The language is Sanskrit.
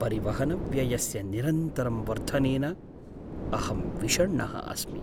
परिवहनव्ययस्य निरन्तरं वर्धनेन अहं विषण्णः अस्मि।